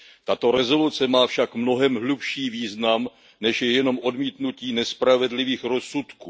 Tato rezoluce má však mnohem hlubší význam, než je jenom odmítnutí nespravedlivých rozsudků.